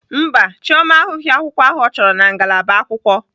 Mba, Chioma ahụghị akwukwo ahụ ọ chọrọ na ngalaba akwụkwọ.